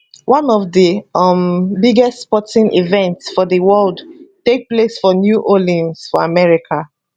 one of di um biggest sporting events for di world take place for new orleans for america